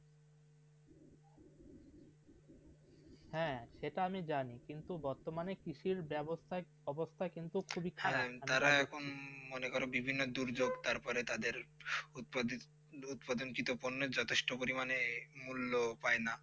হেঁ সেটা আমি জাঁতি কিন্তু বর্তমানে কৃষি বেবস্তা অবস্থা কিন্তু খুবই খারাব তারা এখন মনে করে বিভিন্ন দুর্যোগ তার পরে তা দের উৎপাদিত উপাদিতঞ্চিত যতোষ্ট পরিমাণে মূল্য পায়ে না.